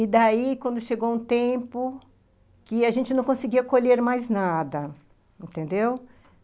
E daí, quando chegou um tempo que a gente não conseguia colher mais nada, entendeu?